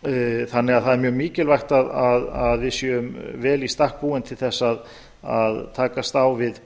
þannig að það er mjög mikilvægt að við séum vel í stakk búin til þess að takast á við